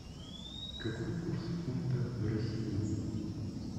какой курс фунта в россии